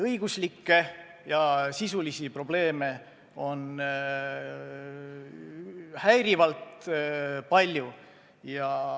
Õiguslikke ja sisulisi probleeme on häirivalt palju.